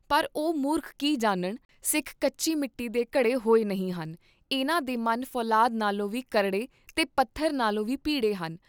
ਪਰ ਉਹ ਮੂਰਖ ਕੀ ਜਾਨਣ, ਸਿੱਖ ਕੱਚੀ ਮਿੱਟੀ ਦੇ ਘੜੇ ਹੋਏ ਨਹੀਂ ਹਨ, ਇਹਨਾਂ ਦੇ ਮਨ ਫੌਲਾਦ ਨਾਲੋਂ ਵੀ ਭੀ ਕਰੜੇ ਤੇ ਪੱਥਰ ਨਾਲੋਂ ਵੀ ਬੀ ਪੀਡੇ ਹਨ।